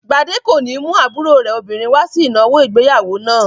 Gbadé kò ní mú àbúrò rẹ̀ obìnrin wá sí ìnáwó ìgbéyàwó náà.